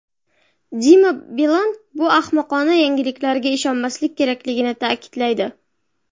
Dima Bilan bu ahmoqona yangiliklarga ishonmaslik kerakligini ta’kidlaydi.